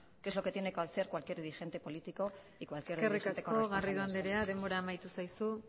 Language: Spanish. que es lo que tiene que hacer cualquier dirigente político y cualquier dirigente con responsabilidades eskerrik asko garrido andrea denbora amaitu zaizu